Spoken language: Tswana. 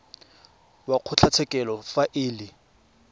wa kgotlatshekelo fa e le